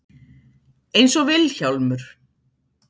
Einsog Vil- hjálmur.